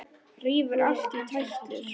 Rífur allt í tætlur.